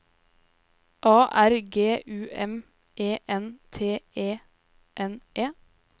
A R G U M E N T E N E